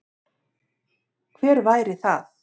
Hver væri það?